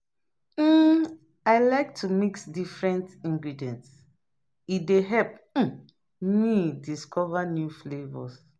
um I like to mix different ingredients; e dey help um me discover new flavors.